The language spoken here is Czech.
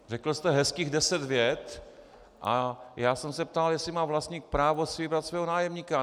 Řekl jste hezkých deset vět, ale já jsem se ptal, jestli má vlastník právo si vybrat svého nájemníka.